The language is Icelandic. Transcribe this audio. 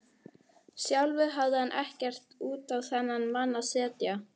Sjálfur hafði hann ekkert út á þennan mann að setja.